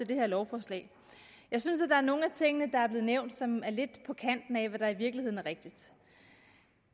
det her lovforslag jeg synes der er nogle af tingene der blev nævnt som er lidt på kanten af hvad der i virkeligheden er rigtigt